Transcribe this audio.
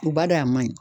U b'a dɔn a man ɲi